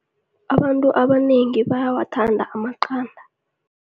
Abantu abanengi bayawathanda amaqanda.